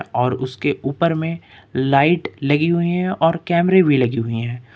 और उसके ऊपर में लाइट लगी हुई है और कैमरे भी लगी हुई है।